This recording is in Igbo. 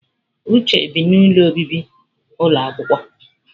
Uche bi n'ụlọ obibi ụlọ akwụkwọ.